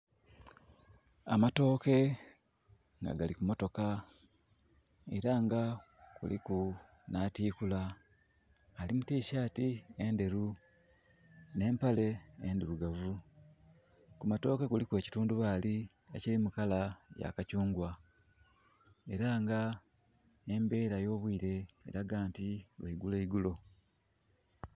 Amatooke nga gali ku motoka era nga kuliku n'atikula, ali mu tisati enderu ne mpale endirugavu. Ku matooke kuliku ekitundubali ekiri mu kala ya kakyungwa era nga embeera y'obwire eraga nti lwaigulo igulo